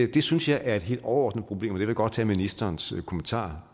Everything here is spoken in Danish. det synes jeg er et helt overordnet problem og det vil jeg godt have ministerens kommentarer